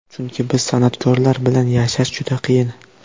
Chunki biz, san’atkorlar, bilan yashash juda qiyin.